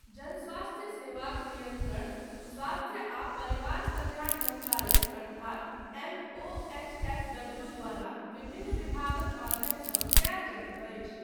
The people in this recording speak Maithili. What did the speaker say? जनस्वास्थ्य सेवाक नियन्त्रण स्वास्थ्य आ परिवार कल्याण मन्त्रालय अर्थात एमओएचएफडब्ल्यू द्वारा विभिन्न विभागक माध्यमसँ कयल जाइत अछि।